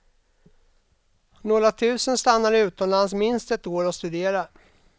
Några tusen stannar utomlands minst ett år och studerar.